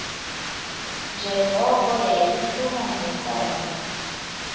njengoko yayiphuma neenkomo